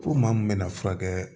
Ko maa mun bɛna furakɛ